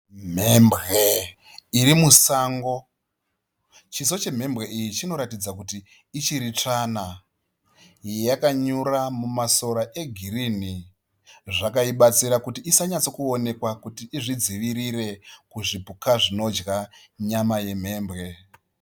Mhembwe irimusango. Chiso chemhembwe iyi chinoratidzakuti ichiri tsvana. Yakanyura mumasora egirinhi. Zvakaibatsira kuti isanyatsokuonekwa izvidzivirire kuzvupuka zvinodya nyama yemhembwe.